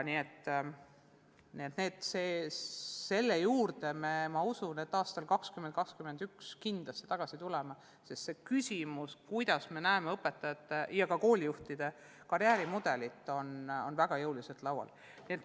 Ma usun, et selle juurde me tuleme 2021. aastal kindlasti tagasi, sest küsimus, millisena me näeme õpetajate ja ka koolijuhtide karjäärimudelit, on väga jõuliselt laual.